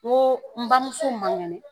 N ko n bamuso man kɛnɛ.